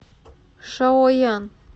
шаоян